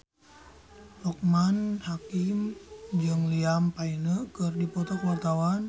Loekman Hakim jeung Liam Payne keur dipoto ku wartawan